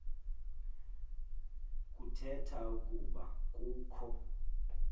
kuthetha ukuba kukho